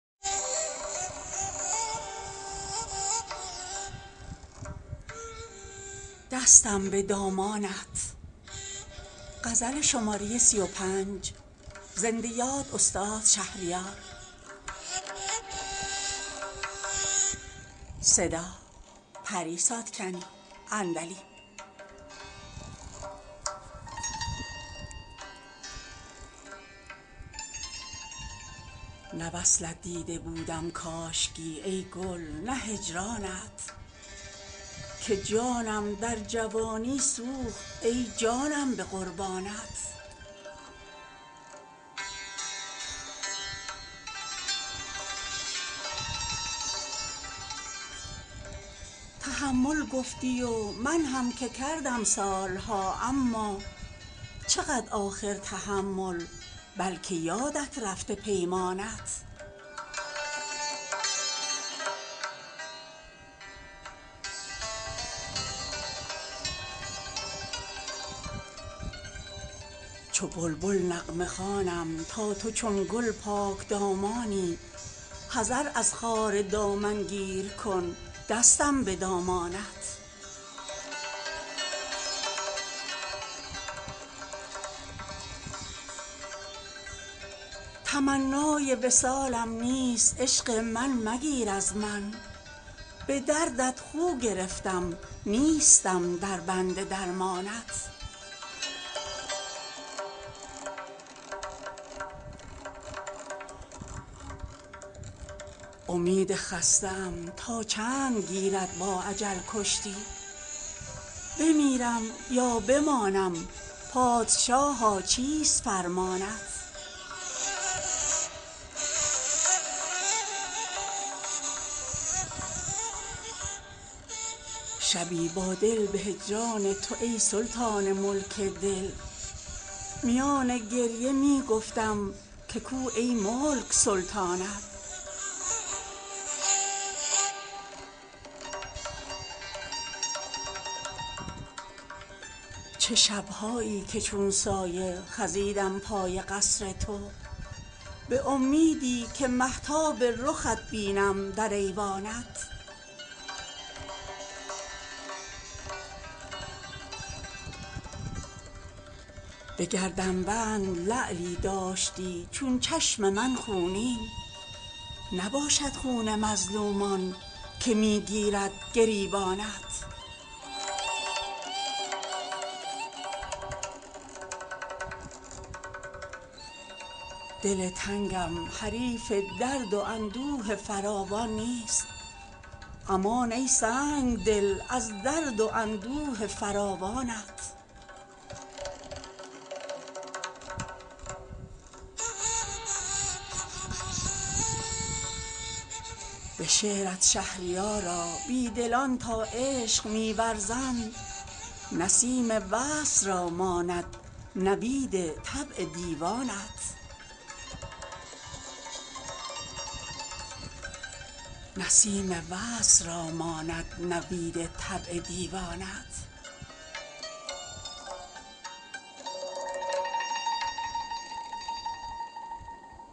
نه وصلت دیده بودم کاشکی ای گل نه هجرانت که جانم در جوانی سوخت ای جانم به قربانت تحمل گفتی و من هم که کردم سال ها اما چقدر آخر تحمل بلکه یادت رفته پیمانت چو بلبل نغمه خوانم تا تو چون گل پاکدامانی حذر از خار دامنگیر کن دستم به دامانت تمنای وصالم نیست عشق من مگیر از من به دردت خو گرفتم نیستم در بند درمانت امید خسته ام تا چند گیرد با اجل کشتی بمیرم یا بمانم پادشاها چیست فرمانت شبی با دل به هجران تو ای سلطان ملک دل میان گریه می گفتم که کو ای ملک سلطانت چه شب هایی که چون سایه خزیدم پای قصر تو به امیدی که مهتاب رخت بینم در ایوانت به گردنبند لعلی داشتی چون چشم من خونین نباشد خون مظلومان که می گیرد گریبانت دل تنگم حریف درد و اندوه فراوان نیست امان ای سنگدل از درد و اندوه فراوانت به شعرت شهریارا بیدلان تا عشق می ورزند نسیم وصل را ماند نوید طبع دیوانت